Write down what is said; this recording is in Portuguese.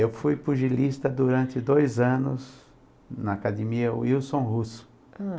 Eu fui pugilista durante dois anos na academia Wilson Russo.